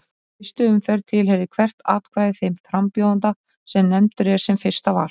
Í fyrstu umferð tilheyrir hvert atkvæði þeim frambjóðanda sem nefndur er sem fyrsta val.